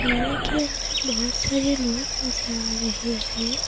में के अंदर बहुत सारे लोग नजर आ रहे हैं।